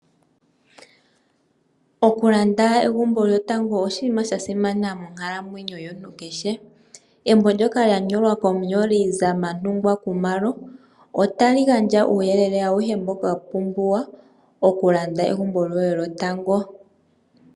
Okulanda egumbo lyotango oshinima sha simana monkalamwenyo yomuntu kehe. Embo ndyoka lya nyolwa komunyoli Zamantungwa Khumalo otali gandja uuyelele auhe mboka wa pumbiwa okulanda egumbo lyoye lyotango.